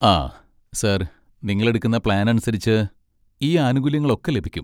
ആ, സാർ, നിങ്ങളെടുക്കുന്ന പ്ലാൻ അനുസരിച്ച്, ഈ ആനുകൂല്യങ്ങളൊക്കെ ലഭിക്കും.